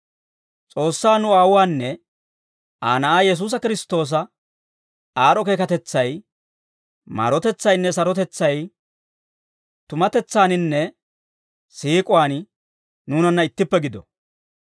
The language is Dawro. S'oossaa nu Aawuwaanne Aa Na'aa Yesuusi Kiristtoosa aad'd'o keekatetsay, maarotetsaynne sarotetsay tumatetsaaninne siik'uwaan nuunanna ittippe gido.